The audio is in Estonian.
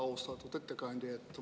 Austatud ettekandja!